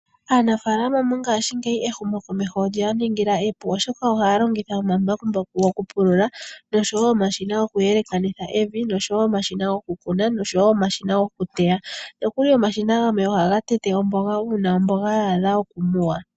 Aanafaalama mongaashingeyi, ehumokomeho olye ya ningila epu oshoka ohaya longitha omambakumbaku gokupulula noshowo omashina goku yelekanitha evi noshowo omashina goku kuna noshowo omashina goku teya . Nokuli omashina gamwe ohaga tete omboga, uuna omboga ya adha okumuwa.